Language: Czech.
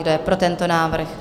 Kdo je pro tento návrh?